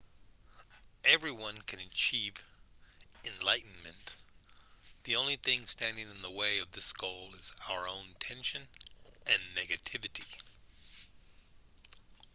everyone can achieve enlightenment the only thing standing in the way of this goal is our own tension and negativity